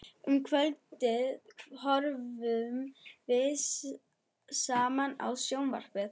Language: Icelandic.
Um kvöldið horfðum við saman á sjónvarpið.